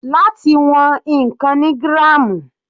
Láti wọn ǹkan ni gram.